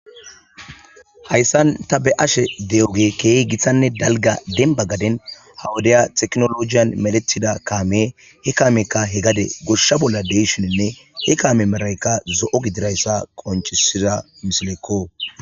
Hayissani ta beyashe dewubi demibba gaddeni wodiya tekinolojiyani medhetida kameyi he gadenikka gosha bolla deyishini he kame medhayi zo'o gididayisa qoncisesiko.